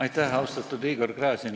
Aitäh, austatud Igor Gräzin!